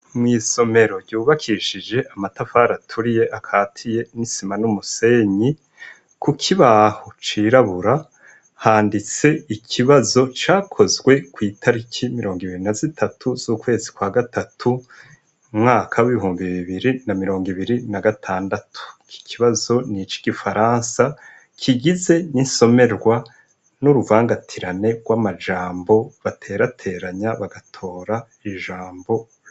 Mw'isomero ryubakishije amatafari aturiye akatiye n'isima n'umusenyi, kukibaho cirabura handitse ikibazo cakozwe kw'itariki mirongo ibiri na zitatu z'ukwezi kwa gatatu mwaka b'ibihumbi bibiri na mirongo ibiri na gatandatu kikibazo niki gifaransa kigize n'isomerwa n'uruvangatirane rw'amajambo baterateranya bagatora ijambo.